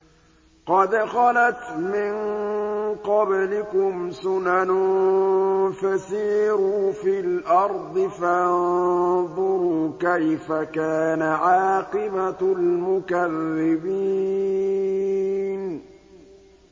قَدْ خَلَتْ مِن قَبْلِكُمْ سُنَنٌ فَسِيرُوا فِي الْأَرْضِ فَانظُرُوا كَيْفَ كَانَ عَاقِبَةُ الْمُكَذِّبِينَ